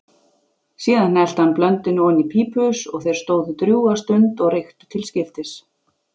Síðan hellti hann blöndunni oní pípuhaus og þeir stóðu drjúga stund og reyktu til skiptis.